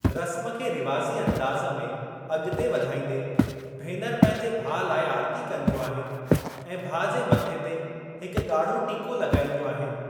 रस्‍म खे रिवाज़ी अंदाज़ में अॻिते वधाइंदे, भेनर पंहिंजे भाउ लाए आरती कंदियूं आहिनि ऐं भाउ जे मथे ते हिकु ॻाढ़ो टिको लगाईंदियूं आहिनि।